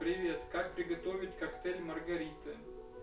привет как приготовить коктейль маргарита